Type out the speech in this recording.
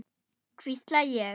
hvísla ég.